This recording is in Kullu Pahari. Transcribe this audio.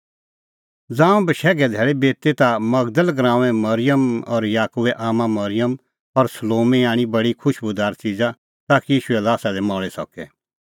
ज़ांऊं बशैघे धैल़ी बिती ता मगदल़ गराऊंए मरिअम और याकूबै आम्मां मरिअम और सलोमी आणी बडी खुशबूदार च़िज़ा ताकि ईशूए ल्हासा दी मल़ी सके